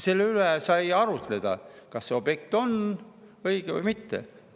Selle üle sai arutleda, kas see objekt on õige või mitte.